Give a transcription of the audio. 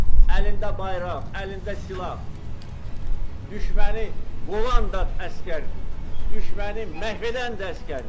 əlində bayraq, əlində silah, düşməni qovan da əsgərdir, düşməni məhv edən də əsgərdir.